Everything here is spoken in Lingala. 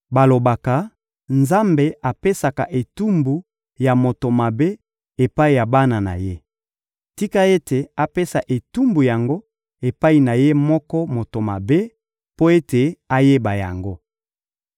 Balobaka: ‹Nzambe apesaka etumbu ya moto mabe epai ya bana na ye.› Tika ete apesa etumbu yango epai na ye moko moto mabe, mpo ete ayeba yango!